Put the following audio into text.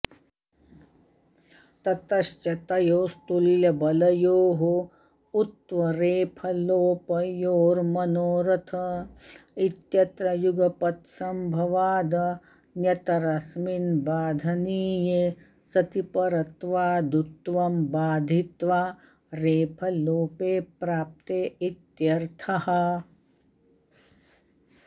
ततश्च तयोस्तुल्यबलयोः उत्वरेफलोपयोर्मनोरथ इत्यत्र युगपत्सम्भवादन्यतरस्मिन् बाधनीये सति परत्वादुत्वं बाधित्वा रेफलोपे प्राप्ते इत्यर्थः